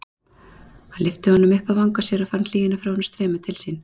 Hann lyfti honum upp að vanga sér og fann hlýjuna frá honum streyma til sín.